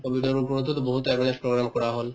কভিডৰ ওপৰতো to বহুত awareness program কৰা হল